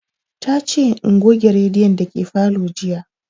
Ta ce in goge rediyon dake falo jiya